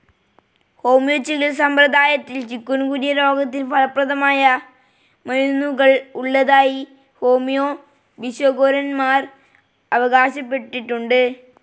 Homeo ചികിത്സ സമ്പ്രദായത്തിൽ chikungunya രോഗത്തിന് ഫലപ്രദമായ മരുന്നുകൾ ഉള്ളതായി ഹോമിയോ ഭിഷഗ്വരന്മാർ അവകാശപ്പെട്ടിട്ടുണ്ട്.